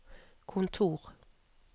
kontor